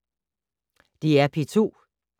DR P2